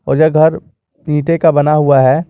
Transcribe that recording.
और यह घर ईंटे का बना हुआ है।